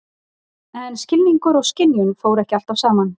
En skilningur og skynjun fóru ekki alltaf saman.